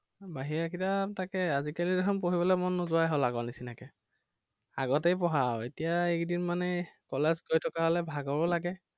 বাহিৰা কিতাপ তাকেই আজিকালি দেখোন পঢ়িবলৈ মন নোযোৱাই হল আগৰ নিচিনাকে। আগতেই পঢ়া আৰু এতিয়া এইকেইদিন মানে college গৈ থকা হলে ভাগৰো লাগে।